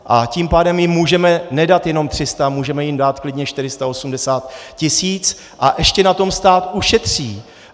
A tím pádem jim můžeme nedat jenom 300, můžeme jim dát klidně 480 tisíc a ještě na tom stát ušetří.